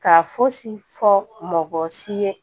Ka fosi fɔ mɔgɔ si ye